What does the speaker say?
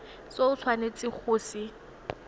se o tshwanetseng go se